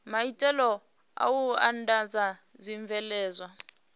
maitele a u andadza zwibveledzwa